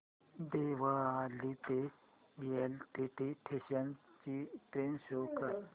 देवळाली ते LTT station ची train show कर